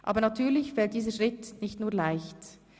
Aber natürlich fällt dieser Schritt nicht nur leicht.